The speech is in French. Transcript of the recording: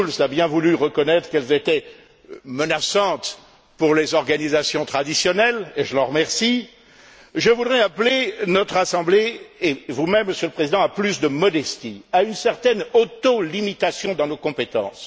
Schulz a bien voulu reconnaître qu'elles étaient menaçantes pour les organisations traditionnelles et je l'en remercie je voudrais appeler notre Assemblée, et vous même, Monsieur le Président, à plus de modestie, à une certaine autolimitation dans nos compétences.